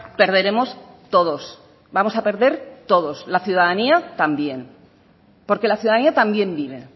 perderemos todos vamos a perder todos la ciudadanía también porque la ciudadanía también vive